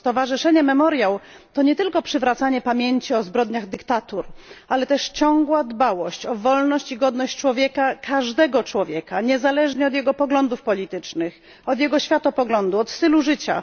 Stowarzyszenie Memoriał to nie tylko przywracanie pamięci o zbrodniach dyktatur, ale też ciągła dbałość o wolność i godność człowieka, każdego człowieka, niezależnie od jego poglądów politycznych, światopoglądu czy stylu życia.